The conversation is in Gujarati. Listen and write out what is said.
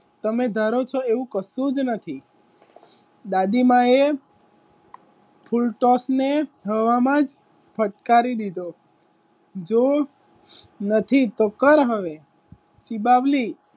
તમે ધારો છો એવું કશું જ નથી દાદીમાએ ફુલટોસ ને થવામાં જ ફટકારી લીધો નથી તો કર હવે ચીબાવલી.